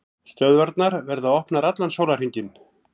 Stöðvarnar verða opnar allan sólarhringinn